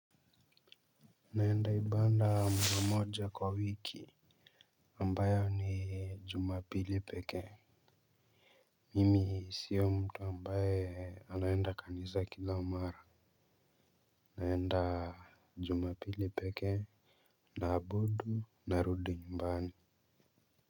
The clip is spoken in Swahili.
Naenda ibada mara moja kwa wiki ambayo ni jumapili pekee mimi sio mtu ambayo anaenda kanisa kila mara naenda jumapili peke naabudu narudi nyumbani.